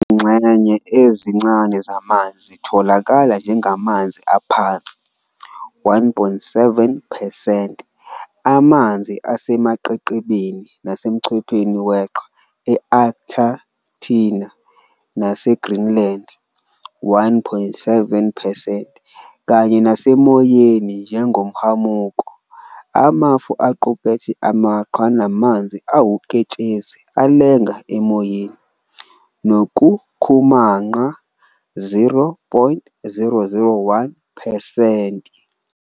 Izingxenye ezincane zamanzi zitholakala njengamanzi aphansi, 1.7 percent, amanzi asemaqeqebeni nasemchpheni weqhwa e-Antarctica nase-Greenland, 1.7 percent, kanye nasemoyeni njengomhamuko, amafu, aqukethe amaqhwa namanzi awuketshezi alenga emoyeni, nokukhumanqa, 0.001 percent.